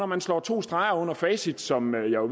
man slår to streger under facit som jeg jo